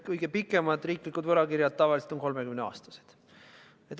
Kõige pikemad riiklikud võlakirjad on tavaliselt 30-aastased.